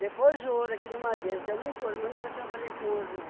Depois o ouro aqui no Madeiro, deu muito ouro, mas nunca trabalhei com ouro, não.